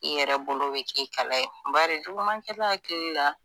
I yɛrɛ bolo bɛ k'i kala ye bari jugumankɛla akili la.